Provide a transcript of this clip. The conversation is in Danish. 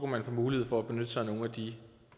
man få mulighed for at benytte sig af nogle af de